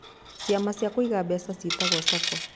Ciama cia kũiga mbeca ciĩtagwo SACCO